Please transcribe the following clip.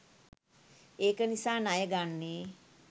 ඒක නිසා ණය ගන්නේ